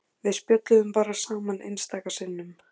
Við spjölluðum bara saman einstaka sinnum.